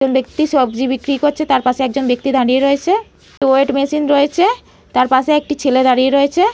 একজন ব্যাক্তি সবজি বিক্রি করছে। তার পাশে একজন ব্যাক্তি দাঁড়িয়ে রয়েছে। ওয়েট মেশিন রয়েছে তার পাশে একজন ছেলে দাঁড়িয়ে রয়েছে।